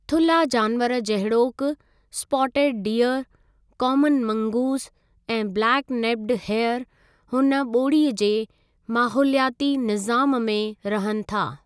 थुल्हा जानवरु जहिड़ोकि स्पॉटेड डिअर, कॉमन मंगूज़ ऐं ब्लेक नेप्ड हेयर हुन ॿोड़ी जे माहोलियाती निज़ामु में रहनि था।